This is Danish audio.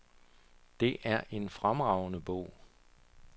Det er en fremragende bog.